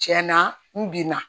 Tiɲɛna n bin na